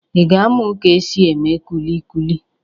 Ị ga-amụ ka e si eme kulikuli?